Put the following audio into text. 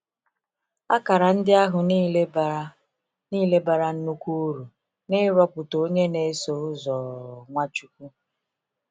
Akara ndị ahụ niile bara niile bara nnukwu uru n’ịrọpụta onye na -eso ụzọ Nwachukwu.